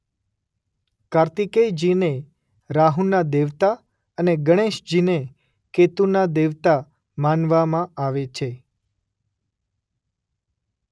કાર્તિકેયજીને રાહુના દેવતા અને ગણેશજીને કેતુના દેવતા માનવામાં આવે છે.